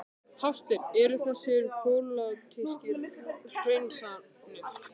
Hafsteinn: Eru þessar pólitískar hreinsanir?